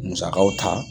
Musakaw ta